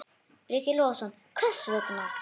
Breki Logason: Hvers vegna?